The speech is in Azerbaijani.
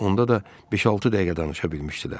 onda da beş-altı dəqiqə danışa bilmişdilər.